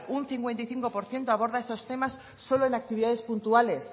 un cincuenta y cinco por ciento aborda estos temas solo en actividades puntuales